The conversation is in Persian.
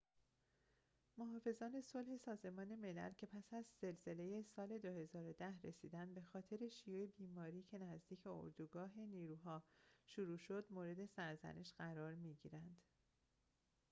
محافظان صلح سازمان ملل که پس از زلزله سال ۲۰۱۰ رسیدند بخاطر شیوع بیماری که نزدیک اردوگاه نیروها شروع شد مورد سرزنش قرار می‌گیرند